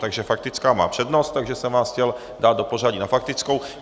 Takže faktická má přednost, takže jsem vás chtěl dát do pořadí na faktickou.